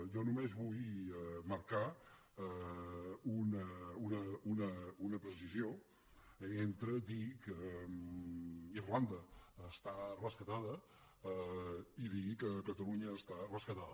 jo només vull marcar una precisió entre dir que irlanda està rescatada i dir que catalunya està rescatada